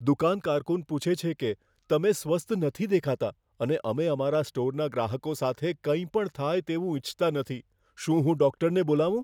દુકાન કારકુન પૂછે છે કે, તમે સ્વસ્થ નથી દેખાતા અને અમે અમારા સ્ટોરના ગ્રાહકો સાથે કંઈપણ થાય તેવું ઈચ્છતા નથી. શું હું ડૉક્ટરને બોલાવું?